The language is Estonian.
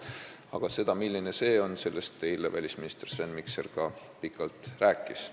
Aga sellest, milline see kurss on, välisminister Sven Mikser eile ka pikalt rääkis.